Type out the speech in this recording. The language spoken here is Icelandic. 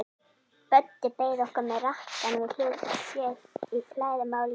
Böddi beið okkar með rakkann við hlið sér í flæðarmálinu.